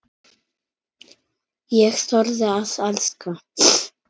Ég þorði að elska.